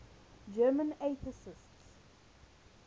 german atheists